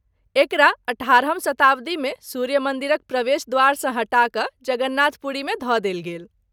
एकरा अठारहम शताब्दीमे सूर्य मन्दिरक प्रवेश द्वारसँ हटा कऽ जगन्नाथ पुरीमे धऽ देल गेल।